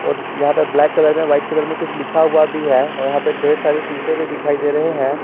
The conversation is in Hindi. और यहां पे ब्लैक कलर में वाइट कलर में कुछ लिखा हुआ भी है और यहां ले ढेर सारे शीशे भी दिखाई दे रहे हैं।